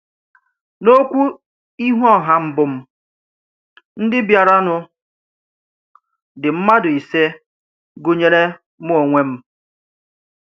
N’okwú íhù ọ̀hà mbù m̀, ndí̀ bịàrànụ̀ dị̀ mmádụ̀ ìsè gụ̀nyèrè mụ́ onwè m.